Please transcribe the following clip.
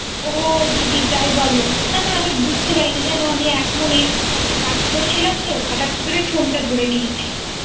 ও দিদি তাই বলো। না না আমি বুঝতে পারিনি জানো। আমি এক মনে একটা কাজ করছিলামতে । হঠৎ করে ফোনটা ধরে নিয়েছি।